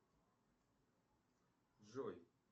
джой